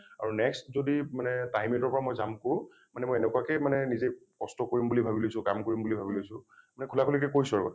আৰু next যদি মানে time eight ৰ পৰা মই jump কৰো মানে মই এনেকুৱাকে মানে নিজে কষ্ট কৰিম বুলি ভাবি লৈছো কাম কৰিম বুলি ভাবি লৈছো মানে খোলা খুলি কে কৈছোঁ আৰু ।